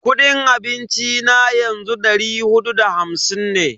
Kudin abinci na yanzu dari hudu da hamsin ne.